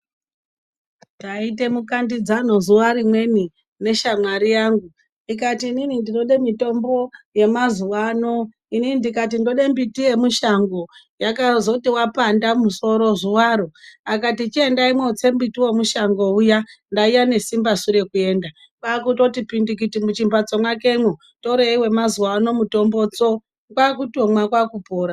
Taita mukandidzano zuva rimweni neshamwari yangu ikati ini ndinoda mitombo yemazuwa ano ini ndikati ndoda mbiti yemushango wakazoti wapanda musoro zuwaro akati chiendai motsa mbiti wemushango uya ndainga nesimbasu rekuenda kwakuti pindikiti muchimbatso mwake mwo torei wemazuwa ano mitombo tso kwakutomwa kwakupora.